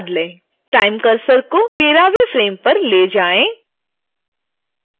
time cursor को 13 वें frame पर ले जाएं